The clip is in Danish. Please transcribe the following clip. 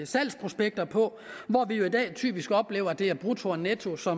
salgsprospekter på hvor vi jo i dag typisk oplever at det er brutto og nettoydelsen